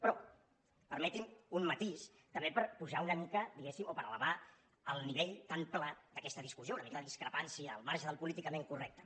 però permetin un matís també per pujar una mica diguéssim o per elevar el nivell tan pla d’aquesta discussió una mica de discrepància al marge del políticament correcte